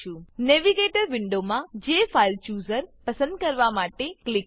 navigator navigator વિન્ડોમાં JFileChooser પસંદ કરવા માટે ક્લિક કરો